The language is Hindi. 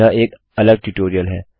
यह एक अलग ट्यूटोरियल है